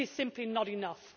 This is simply not enough.